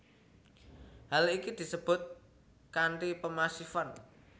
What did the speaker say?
Hal iki disebut kanti pemasifan